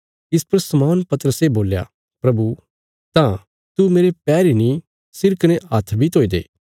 इस पर शमौन पतरसे बोल्या प्रभु तां तू मेरे पैर इ नीं सिर कने हत्थ बी धोई दे